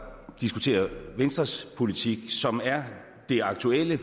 diskutere venstres politik som er det aktuelle